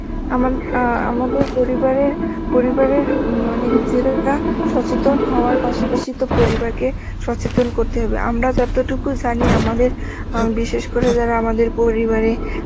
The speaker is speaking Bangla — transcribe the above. আমা~ আ আমাদের পরিবারে পরিবারের মানে নিজেরা সচেতন হওয়ার পাশাপাশি তো পরিবারকে সচেতন করতে হবে, আমরা যতটুকু জানি আমাদের অ্যাঁ বিশেষ করে যারা আমাদের পরিবারে